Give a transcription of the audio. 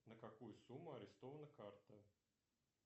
на какую сумму арестована карта